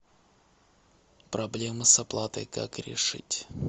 проблема с оплатой как решить